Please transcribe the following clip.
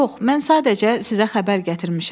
Yox, mən sadəcə sizə xəbər gətirmişəm.